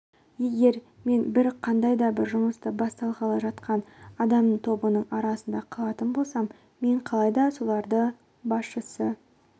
егер мен бір қандай да бір жұмысты бастағалы жатқан адамдар тобының арасында қалатын болсам мен қалайда солардың басшысы